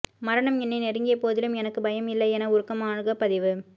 மரணம் என்னை நெருங்கியபோதிலும் எனக்கு பயம் இல்லை என உருக்கமாக பதிவு